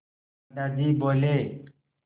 दादाजी बोले